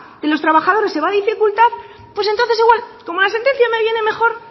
de los trabajadores se va dificultar pues entonces igual como la sentencia me viene mejor